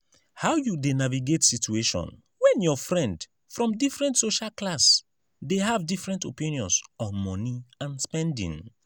how you dey navigate situation when your friend from different social class dey have different opinions on money and spending?